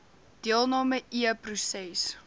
deelnam e proses